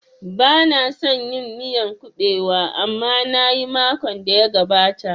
Bana son yin miyan kuɓewa amma nayi makon da ya gabata